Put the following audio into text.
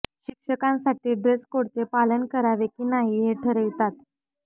शिक्षकांसाठी ड्रेस कोडचे पालन करावे की नाही हे ठरवितात